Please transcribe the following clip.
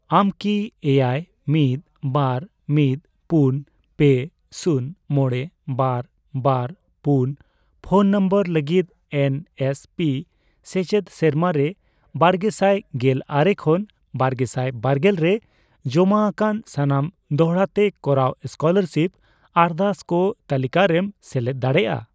ᱟᱢ ᱠᱤ ᱮᱭᱟᱭ, ᱢᱤᱫ, ᱵᱟᱨ, ᱢᱤᱫ, ᱯᱩᱱ, ᱯᱮ, ᱥᱩᱱ, ᱢᱚᱬᱮ, ᱵᱟᱨ, ᱵᱟᱨ, ᱯᱩᱱ ᱯᱷᱳᱱ ᱱᱟᱢᱵᱟᱨ ᱞᱟᱹᱜᱤᱫ ᱮᱱ ᱮᱥ ᱯᱤ ᱥᱮᱪᱮᱫ ᱥᱮᱨᱢᱟ ᱨᱮ ᱵᱟᱨᱜᱮᱥᱟᱭ ᱜᱮᱞ ᱟᱨᱮ ᱠᱷᱚᱱ ᱵᱟᱨᱜᱮᱥᱟᱭ ᱵᱟᱨᱜᱮᱞ ᱨᱮ ᱡᱚᱢᱟ ᱟᱠᱟᱱ ᱥᱟᱱᱟᱢ ᱫᱚᱲᱦᱟ ᱛᱮ ᱠᱚᱨᱟᱣ ᱥᱠᱚᱞᱟᱨᱥᱤᱯ ᱟᱨᱫᱟᱥ ᱠᱚ ᱛᱟᱞᱤᱠᱟᱨᱮᱢ ᱥᱮᱞᱮᱫ ᱫᱟᱲᱮᱭᱟᱜᱼᱟ ?